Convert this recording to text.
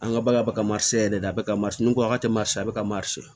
An ka bagan bɛ ka yɛrɛ de a bɛ ka ko a ka te ma sisan a bɛ ka